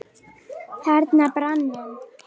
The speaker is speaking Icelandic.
Þarna brann hann.